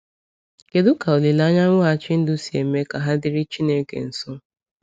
Kedu ka olileanya mweghachi ndụ si eme ka ha dịrị Chineke nso?